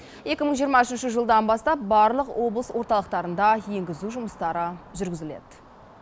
екі мың жиырма үшінші жылдан бастап барлық облыс орталықтарында енгізу жұмыстары жүргізіледі